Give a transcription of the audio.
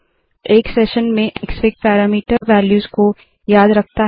एक सेशन में Xfig parameter values को याद रखता है